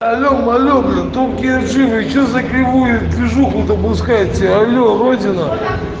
что закрывает движуху допускается алоэ родина